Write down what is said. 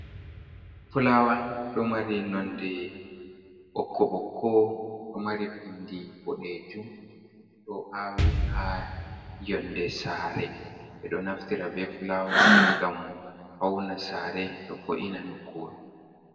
Fulawa ɗo mari nonde ɓokko ɓokko ɗo mari bindi boɗejum, ɗo awi ha yonde sare. Ɓe ɗo naftira be fulawa on ngam fauna sare ɗo vo’ina nokkure.